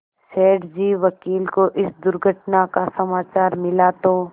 सेठ जी वकील को इस दुर्घटना का समाचार मिला तो